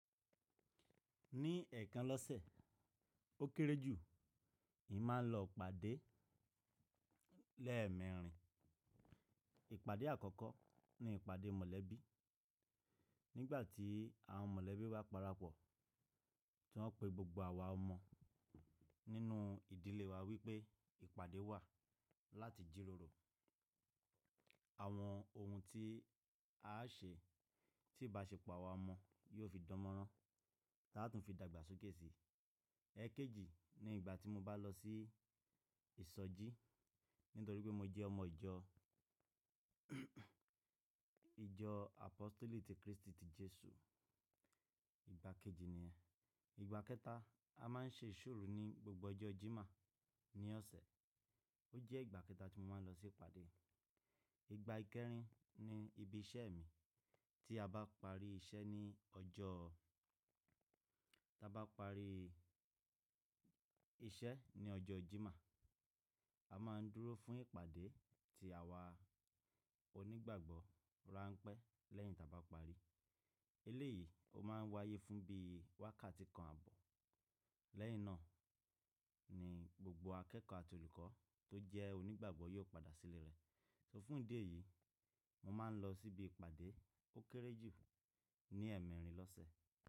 Ní ẹ̀ẹ̀kan lọ́sẹ̀ ó kéré jù, èmi máa ń lọ ìpàdé lẹ́ẹ̀mẹ́rin. Ìpàdé àkọ́kọ́ ní ìpàdé mọ̀lẹ́bí, nígbà tí àwọn mọ̀lẹ́bí bá parapọ̀, tí wọ́n pé gbogbo àwa ọmọ nínú ìdílé wa wípé ìpàdé wà láti jíròrò àwọn ohun tí a ṣe tí ibaṣẹpo àwọa ọmọ yóò fi dánmọ́rán, táa tún fi dàgbà sókè sì. Ẹ̀ẹ̀keji ni ìgbà tí mo bá lọ sí ìsọjí nítorí pé mo jẹ́ ọmọ ìjọ Àpóstélì ti Krístì ti Jésù, ìgbà kejì ni yẹn. Ìgbà kẹta, a máa ń ṣe iṣo orù ní gbogbo ọjọ́ Jímà ní ọ̀sẹ̀, ó jẹ́ ìgbà kẹta tí mo máa ń lọ sí ìpàdé. Ìgbà ikẹrin ni ibi iṣẹ́ mi, tí a bá parí iṣẹ́ ní ọjọ́ Jímà, a máa ń dúró fún ìpàdé tí àwa onígbàgbọ́ ra n pẹ́ lẹ́yin táa bá parí. Eléyìí ó máa ń wáyé fún bí wákàtí kan ààbọ̀, lẹ́yin náà ni gbogbo akẹ́kọ̀ọ́ àti olùkọ́ tó jẹ́ onígbàgbọ́ yóò padà sílé rẹ̀. So fún idí ẹ̀yìí, mo máa ń lọ síbi ìpàdé ó kéré jù ní ẹ̀ẹ́mẹ́rin lọ́sẹ̀.